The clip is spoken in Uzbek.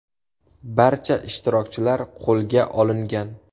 Barcha ishtirokchilar qo‘lga olingan.